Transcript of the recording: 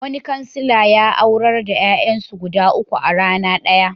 Wani kansila ya aurar da ƴaƴansu guda uku a rana ɗaya.